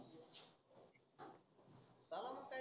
झाला मग time